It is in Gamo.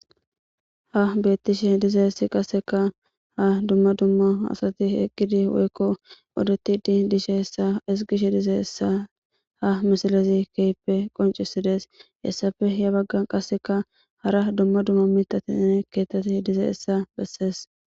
ha beettishe dizayssi qasseka ha dumma dumma asati eqqidi woykko odoti di dishe essa isgishe dize hessa ha misalezi keyppe qoncisides hessafe ya baggan qasseka hara dumma dumma mitatinne keettati dize hessa bessees